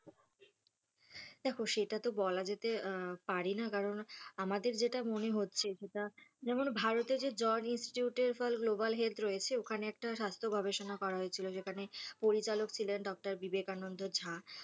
দেখ সেটাতো বলা যেতে পারে না কারণ আমাদের যেটা মনে হচ্ছে সেটা যেমন ভারতে যে George Institute for Global Health রয়েছে ওখানে একটা স্বাস্থ্য গবেষণা করা হয়েছিল সেখানে পরিচালক ছিলেন doctor বিবেকানন্দ ঝাঁ তো